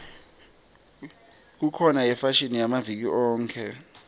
kukhona yefashini yamaviki onkhe